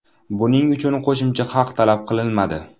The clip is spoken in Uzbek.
Buning uchun qo‘shimcha haq talab qilinmadi.